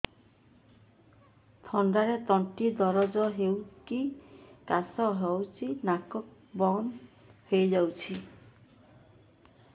ଥଣ୍ଡାରେ ତଣ୍ଟି ଦରଜ ହେଇକି କାଶ ହଉଚି ନାକ ବନ୍ଦ ହୋଇଯାଉଛି